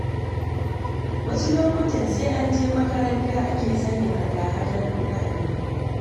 Wasu lokutan sai an je makaranta, ake sanin hada-hadar kuɗaɗe.